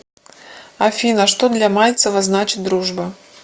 афина что для мальцева значит дружба